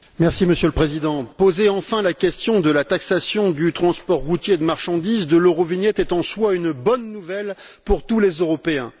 Monsieur le Président, poser enfin la question de la taxation du transport routier de marchandises, de l'Eurovignette, est en soi une bonne nouvelle pour tous les Européens.